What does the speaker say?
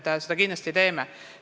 Me teeme kindlasti järeldusi.